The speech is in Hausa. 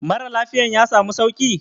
Mara lafiyan ya samu sauki?